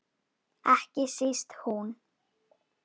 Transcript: Ekki síst hún.